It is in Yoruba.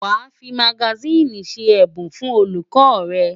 Wàá fi magasíìnì ṣe ẹ̀bùn fún olùkọ́ rẹ̀!